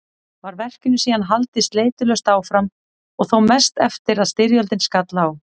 Var verkinu síðan haldið sleitulaust áfram og þó mest eftir að styrjöldin skall á.